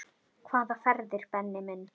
Hvaða ferðir Benni minn?